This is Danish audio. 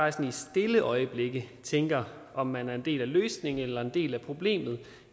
i stille øjeblikke tænker om man er en del af løsningen eller en del af problemet